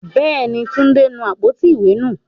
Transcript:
Bẹ́ẹ̀ni, Túndé nu àpótí ìwé nù.